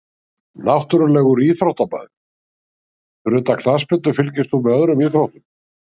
Náttúrulegur íþróttamaður Fyrir utan knattspyrnu, fylgist þú með öðrum íþróttum?